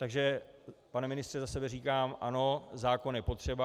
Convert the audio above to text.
Takže pane ministře, za sebe říkám ano, zákon je potřeba.